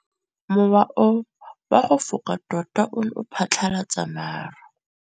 Mowa o wa go foka tota o ne wa phatlalatsa maru.